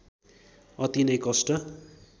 अति नै कष्ट